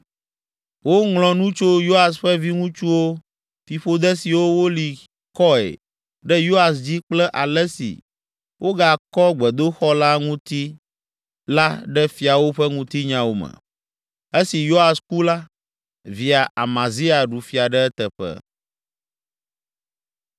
Woŋlɔ nu tso Yoas ƒe viŋutsuwo, fiƒode siwo woli kɔe ɖe Yoas dzi kple ale si wogakɔ gbedoxɔ la ŋuti la ɖe Fiawo ƒe ŋutinyawo me. Esi Yoas ku la, via Amazia ɖu fia ɖe eteƒe.